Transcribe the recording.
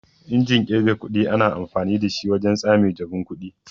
Injin kirgar kuɗi ana amfani dashi wajen tsame jabun kuɗi.